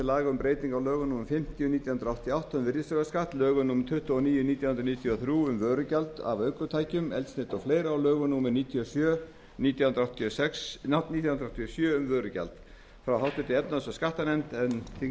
laga um breyting á lögum númer fimmtíu nítján hundruð áttatíu og átta um virðisaukaskatt lögum númer tuttugu og níu nítján hundruð níutíu og þrjú um vörugjald af ökutækjum eldsneyti og fleiri og lögum númer níutíu og sjö nítján hundruð áttatíu og sjö um vörugjald frá háttvirtri efnahags og skattanefnd en